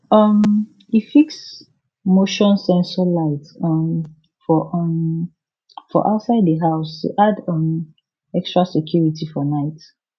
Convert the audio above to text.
um e fix motion sensor light um for um for outside the house to add um extra security for night